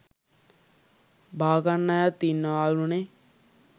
බාගන්න අයත් ඉන්නවාලුනේ.